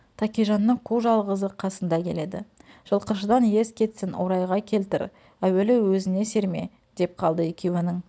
тәкежанның қу жалғызы қарсында келеді жылқышыдан ес кетсін орайға келтір әуелі өзіне серме деп қалды екеуінің